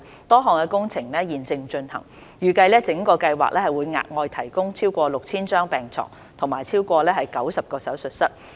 多項工程現正進行，預計整個計劃會額外提供超過 6,000 張病床和超過90個手術室。